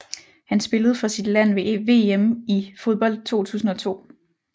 Han spillede for sit land ved VM i fodbold 2002